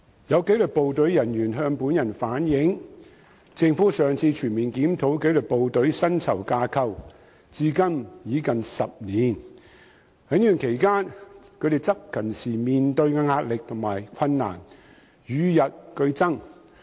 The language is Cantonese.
有紀律部隊人員向本人反映，政府上次全面檢討紀律部隊薪酬架構至今已近10年，而在這段期間，他們執勤時面對的壓力和困難與日俱增。